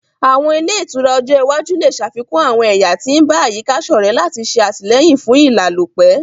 Àwọn ile itura ojo iwaju le ṣafikun àwọn ẹya ti n ba àyíká-sọrẹ lati ṣe atilẹyin fún ìlálòpẹ́